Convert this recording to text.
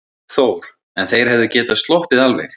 Þór: En þeir hefðu getað sloppið alveg?